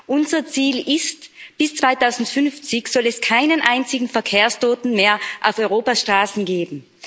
Unser Ziel ist Bis 2050 soll es keinen einzigen Verkehrstoten mehr auf Europas Straßen geben.